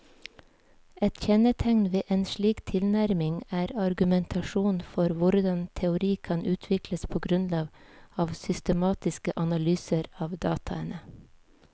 Et kjennetegn ved en slik tilnærming er argumentasjonen for hvordan teori kan utvikles på grunnlag av systematiske analyser av dataene.